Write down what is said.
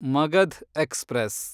Magadh express